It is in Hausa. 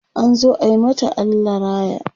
an zo ayi mata Allah raya